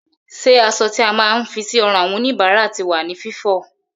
Ṣé aṣọ tí a máa ń fi sí ọrùn àwọn òníbára ti wà ní Fífọ?